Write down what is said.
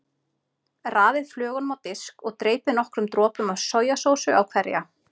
Raðið flögunum á disk og dreypið nokkrum dropum af sojasósu á hverja.